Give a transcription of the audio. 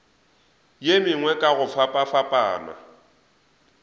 ye mengwe ka go fapafapana